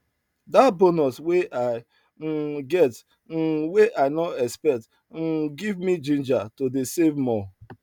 that bonus wey i um get um wey i no expect um give me ginger to dey save more